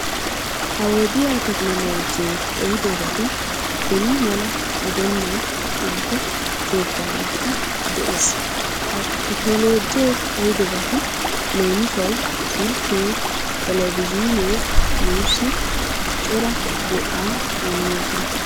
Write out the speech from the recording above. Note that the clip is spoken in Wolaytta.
Ha wodiyan tekinoloojjee ehidobati beni mala gidennan ubbaa keettanikka de'ees. Ha tekinoloojje ehidobati leemisuwau silkkee teelevizhinee nuussi cora go'aa immoosona.